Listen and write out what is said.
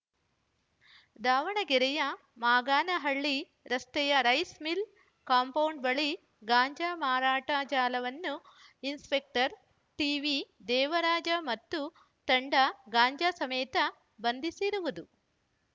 ದಾವಣಗೆರೆಯ ಮಾಗಾನಹಳ್ಳಿ ರಸ್ತೆಯ rice mill compound ಬಳಿ ಗಾಂಜಾ ಮಾರಾಟ ಜಾಲವನ್ನು ಇನ್ಸಪೆಕ್ಟರ್‌ ಟಿವಿ ದೇವರಾಜ ಮತ್ತು ತಂಡ ಗಾಂಜಾ ಸಮೇತ ಬಂಧಿಸಿರುವುದು